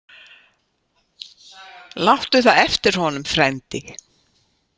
Láttu það eftir honum, frændi.